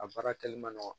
A baara kɛli man nɔgɔn